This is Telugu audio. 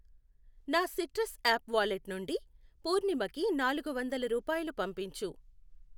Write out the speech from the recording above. నా సిట్రస్ యాప్ వాలెట్ నుండి పూర్ణిమకి నాలుగు వందలు రూపాయలు పంపించు.